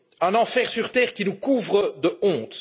Un enfer sur terre qui nous couvre de honte.